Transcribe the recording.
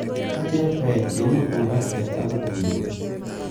Kabwa chepkoech, chemurgor ak cheptabut tuiyet